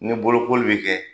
Ni bolokoli bɛ kɛ.